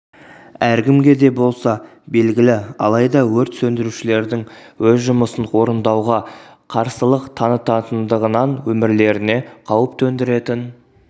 әркімге де болса белгілі алайда өрт сөндірушілердің өз жұмысын орындауға қарсылық танытатындығынан өмірлеріне қауіп төндіретін